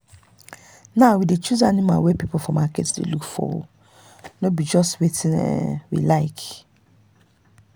now we dey choose animal wey people for market dey look for no be just wetin we um like.